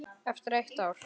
Eftir eitt ár?